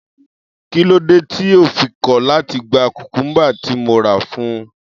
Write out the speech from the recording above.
Kí ló dé tí yóò fi kọ̀ láti gba cucumber tí mo rà fún un?